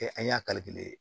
an y'a